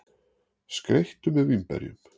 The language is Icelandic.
Skreyttu með vínberjunum.